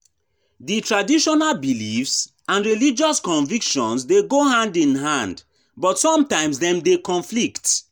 Di traditional beliefs and religious convictions dey go hand in hand, but sometimes dem dey conflict.